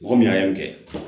Mɔgɔ min y'a kɛ